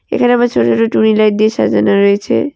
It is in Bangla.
এখানে আবার ছোট ছোট টুনি লাইট দিয়ে সাজানো রয়েছে।